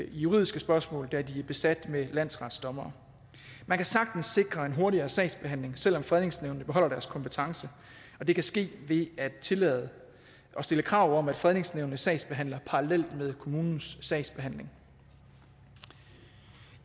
i juridiske spørgsmål da de er besat med landsretsdommere man kan sagtens sikre en hurtigere sagsbehandling selv om fredningsnævnet beholder deres kompetence og det kan ske ved at tillade at stille krav om at fredningsnævnet sagsbehandler parallelt med kommunens sagsbehandling